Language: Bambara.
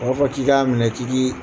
u b'a fɔ k'i k'a minɛ k'i k'i